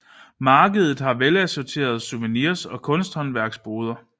Markedet har velassorterede souvenirs og kunsthåndværks boder